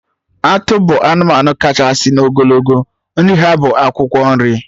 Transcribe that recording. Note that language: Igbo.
Atụ bụ anụmanụ kachasị n'ogologo, nri ha bụ akwụkwọ nri